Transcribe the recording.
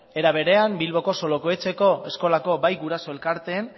era berean bilboko solokoetxeko eskolako bai guraso elkarteen